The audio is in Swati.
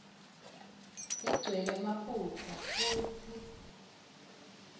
igcwele emaphutsa futsi